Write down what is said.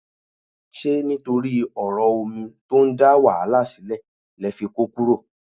Ṣé nítorí ọ̀rọ̀ omi tó ń dá wàhálà sílẹ̀ lẹ fi kó kúrò?